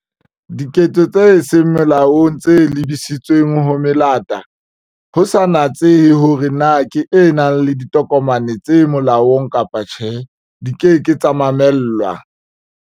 Diketso tse seng molaong tse lebisitsweng ho melata, ho sa natsehe horee na ke e nang le ditokomane tse molaong kapa tjhe, di ke ke tsa mamellwa.